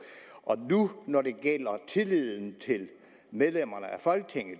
og når det gælder tilliden til medlemmerne af folketinget